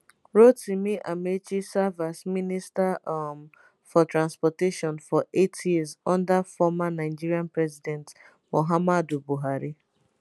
rotimi amaechi serve as minister um for transportation for eight years under former nigeria president muhammadu buhari